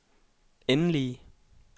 endelige